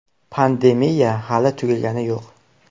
Pandemiya hali tugagani yo‘q.